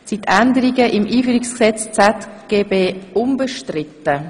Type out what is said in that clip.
Sind die Änderungen im Einführungsgesetz ZGB unbestritten?